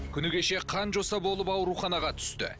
күні кеше қанжоса болып ауруханаға түсті